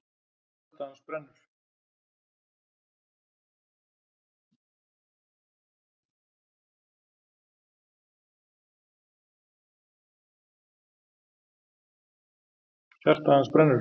Hjarta hans brennur!